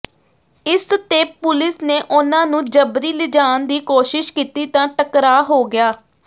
ਇਸ ਤੇ ਪੁਲਿਸ ਨੇ ਉਨ੍ਹਾਂ ਨੂੰ ਜਬਰੀ ਲਿਜਾਣ ਦੀ ਕੋਸ਼ਿਸ਼ ਕੀਤੀ ਤਾ ਟਕਰਾ ਹੋ ਗਿਆ